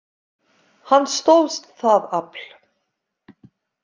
Hann stóðst það afl.